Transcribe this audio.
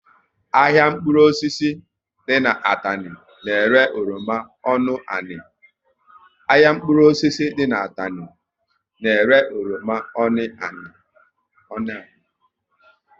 Ahịa mkpụrụ osisi dị n'Atani na ere oroma ọnụ ani